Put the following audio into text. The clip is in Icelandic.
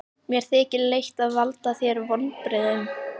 Mér þykir leitt að valda þér vonbrigðum.